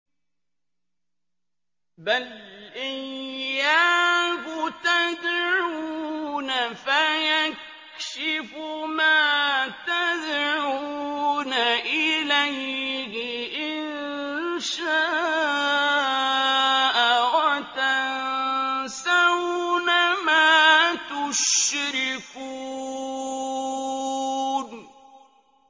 بَلْ إِيَّاهُ تَدْعُونَ فَيَكْشِفُ مَا تَدْعُونَ إِلَيْهِ إِن شَاءَ وَتَنسَوْنَ مَا تُشْرِكُونَ